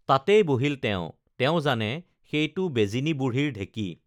তাতেই বহিল তেওঁ তেওঁ জানে সেইটো বেজিনী বুঢ়ীৰ ঢেঁকী